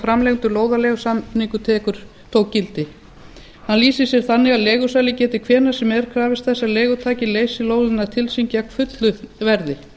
framlengdur lóðaleigusamningur tók gildi hann lýsir sér þannig að leigusali geti hvenær sem er krafist þess að leigutaki leysi lóðina til sín gegn fullu verði